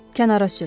Kənara sür.